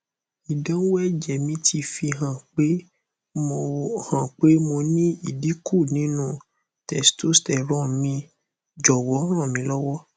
idanwo eje mi ti fi han pe mo han pe mo ni idinku ninu testosterone mi jowo ranmilowo